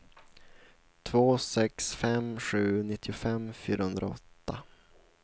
två sex fem sju nittiofem fyrahundraåtta